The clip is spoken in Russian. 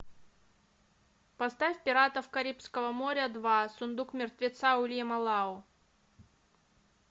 поставь пиратов карибского моря два сундук мертвеца уильяма лау